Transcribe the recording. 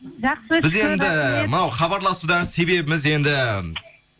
жақсы біз енді мынау хабарласудағы себебіміз енді